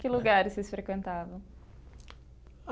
Que lugar vocês frequentavam?